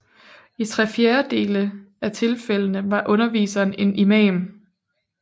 I tre fjerdedele af tilfældende var underviseren en Imam